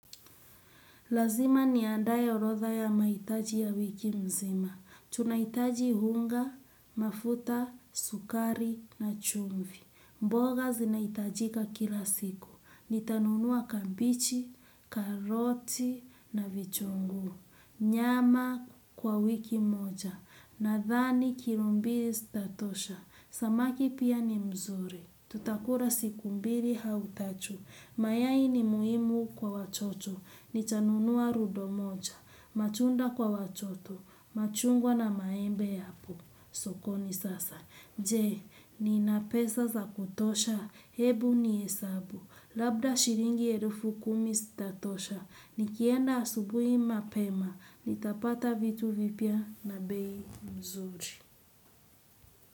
Lazima niandaye orodha ya mahitaji ya wiki nzima. Tunahitaji unga, mafuta, sukari na chumvi. Mboga zinaitajika kila siku. Nitanunua kabichi, karoti na vitunguu. Nyama kwa wiki moja. Nadhani kilo mbili zitatosha. Samaki pia ni mzuri. Tutakula siku mbili au tatu. Mayai ni muhimu kwa watoto. Nitanunua rubo moja, machungwa kwa watoto, machungwa na maembe yapo sokoni sasa. Je, nina pesa za kutosha, hebu nihesabu, labda shilingi elfu kumi zitatosha, nikienda asubuhi mapema, nitapata vitu vipya na bei nzuri.